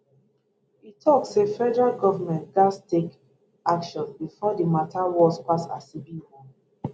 e tok say federal goment gatz take action bifor di mata worse pass as e be now